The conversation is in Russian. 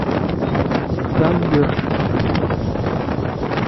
тандыр